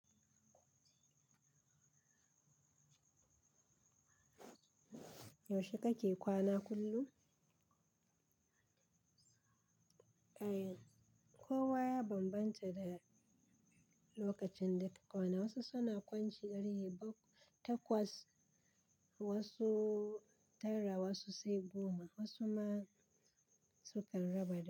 Yaushe kake kwana kullum? Eh, kowa ya bambanta da lokacin da ke kwana. Wasu suna kwanciya ƙarfe takwas, wasu tara, wasu sai goma, wasu ma sukan raba dare.